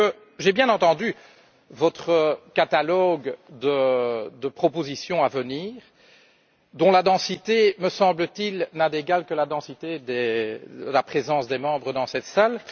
Parce que j'ai bien entendu votre catalogue de propositions à venir, dont la densité, me semble t il, n'a d'égal que la densité de la présence des députés dans cette salle.